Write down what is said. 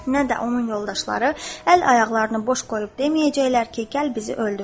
Nə də onun yoldaşları əl ayaqlarını boş qoyub deməyəcəklər ki, gəl bizi öldür.